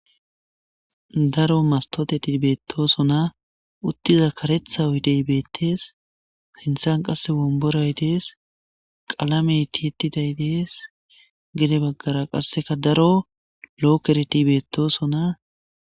daro mastoteti beettoosona uttiza karetha oyidey beettees sinthan qasse womboray dees qalamey tietiday dees gede baggara qasseka daro lookereti beettosona